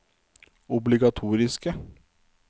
obligatoriske